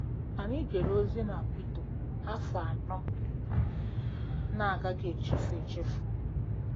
Anyị jere ozi na Quito afọ anọ na-agaghị echefu echefu.